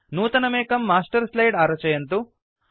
नूतनमेकं master slide आरचयन्तु